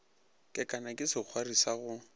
kekana ke sekgwari sa go